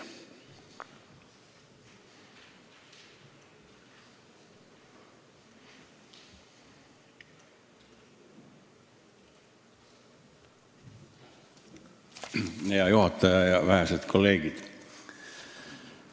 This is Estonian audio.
Hea juhataja ja vähesed kolleegid!